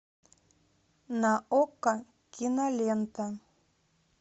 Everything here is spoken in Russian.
на окко кинолента